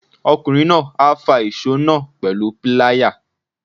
Ọkùnrin náà á fa ìsó náà pẹ̀lú píláyà.